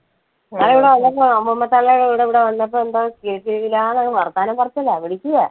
ഇന്നാൾ ഇവിടെ വന്നപ്പോ അമ്മുമ്മ തള്ളേടെ കൂടെ ഇവിടെ വന്നപ്പോ എന്താ കിലുകിലികിലാ അങ്ങ് വർത്താനം പറച്ചിലാ വിളിക്കുവാ.